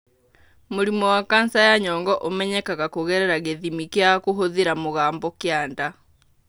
Mũrimũ wa kanca ya nyongo ũmenyekaga kũgerera gĩthimi kĩa kũhũthĩra mũgambo kĩa nda.